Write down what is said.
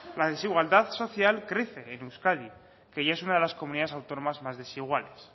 la desigualdad social crece en euskadi que ya es una de las comunidades autónomas más desiguales